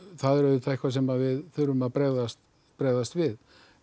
það er auðvitað eitthvað sem við þurfum að bregðast bregðast við